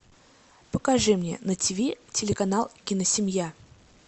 покажи мне на тв телеканал киносемья